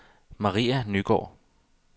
Maria Nygaard